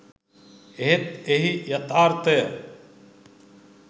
එහෙත් එහි යථාර්ථය